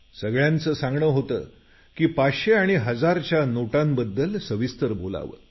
सगळ्यांचं सांगणं होतं की 500 आणि 1000 च्या नोटांबद्दल सविस्तर बोलावं